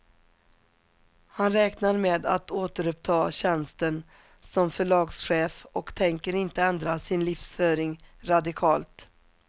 Han räknar med att återuppta tjänsten som förlagschef och tänker inte ändra sin livsföring radikalt.